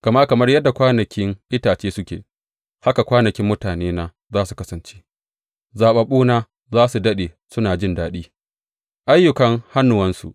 Gama kamar yadda kwanakin itace suke, haka kwanakin mutanena za su kasance; zaɓaɓɓuna za su daɗe suna jin daɗin ayyukan hannuwansu.